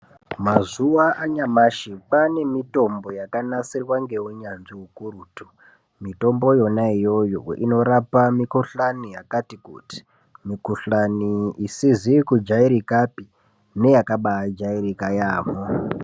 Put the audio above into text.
Mazuwa anyamashi kwaane mitombo yakanasirwa ngeunyazvi ukurutu mitombo yona iyoyo inorapa mikhuhlani yakati kuti, mikhuhlani isizi kujairkapi neyakaba yajairika yaamho.